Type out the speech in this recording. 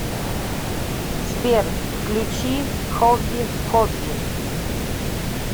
сбер включи хобби хобби